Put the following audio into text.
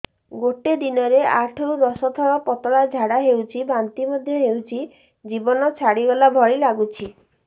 ଗୋଟେ ଦିନରେ ଆଠ ରୁ ଦଶ ଥର ପତଳା ଝାଡା ହେଉଛି ବାନ୍ତି ମଧ୍ୟ ହେଉଛି ଜୀବନ ଛାଡିଗଲା ଭଳି ଲଗୁଛି